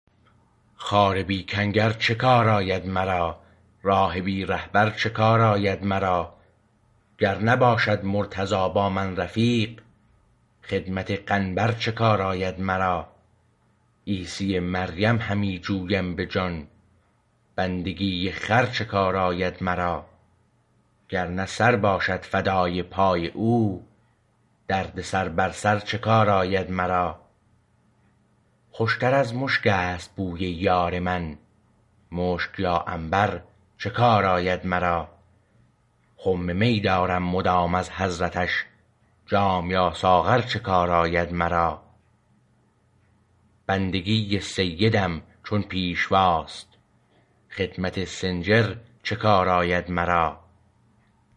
خار بی کنگر چه کار آید مرا راه بی رهبر چه کار آید مرا گر نباشد مرتضی با من رفیق خدمت قنبر چه کار آید مرا عیسی مریم همی جویم به جان بندگی خر چه کار آید مرا گر نه سر باشد فدای پای او دردسر بر سر چه کار آید مرا خوشتر از مشک است بوی یار من مشک یا عنبر چه کار آید مرا خم می دارم مدام از حضرتش جام یا ساغر چه کار آید مرا بندگی سیدم چون پیشوا است خدمت سنجر چه کار آید مرا